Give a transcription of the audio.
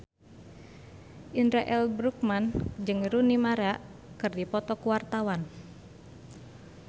Indra L. Bruggman jeung Rooney Mara keur dipoto ku wartawan